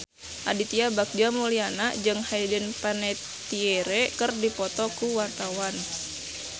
Aditya Bagja Mulyana jeung Hayden Panettiere keur dipoto ku wartawan